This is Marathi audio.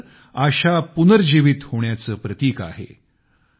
ईस्टर आशा पुनर्जीवित होण्याचे प्रतीक आहे